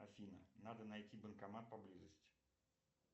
афина надо найти банкомат по близости